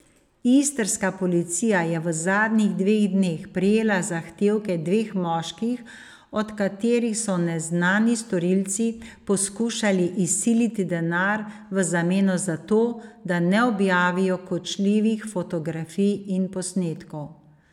Istrska policija je v zadnjih dveh dneh prejela zahtevke dveh moških, od katerih so neznani storilci poskušali izsiliti denar v zameno za to, da ne objavijo kočljivih fotografij in posnetkov.